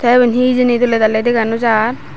te iban he hijeni dole dali dega no jar.